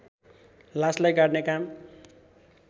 लासलाई गाड्ने काम